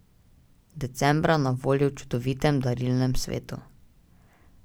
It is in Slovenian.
Decembra na voljo v čudovitem darilnem setu.